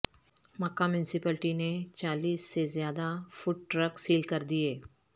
مکہ municipality نے چالیس سے زیادہ فوڈ ٹرک سیل کردیے